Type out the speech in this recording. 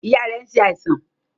Ìyá rẹ̀ nsẹ àìsàn.